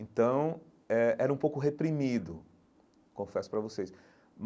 Então, eh era um pouco reprimido, confesso para vocês.